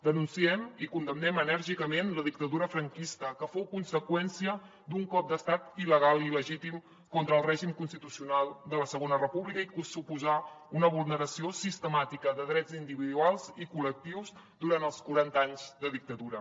denunciem i condemnem enèrgicament la dictadura franquista que fou conseqüència d’un cop d’estat il·legal i il·legítim contra el règim constitucional de la segona república i que suposà una vulneració sistemàtica de drets individuals i col·lectius durant els quaranta anys de dictadura